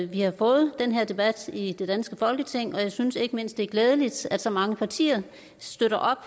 vi har fået den her debat i det danske folketing og jeg synes ikke mindst det er glædeligt at så mange partier støtter op